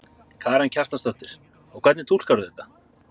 Karen Kjartansdóttir: Og hvernig túlkar þú þetta?